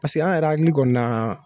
Paseke an yɛrɛ hakili kɔni na.